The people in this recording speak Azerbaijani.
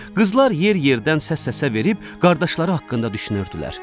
Qızlar yer-yerdən səs-səsə verib, qardaşları haqqında düşünürdülər.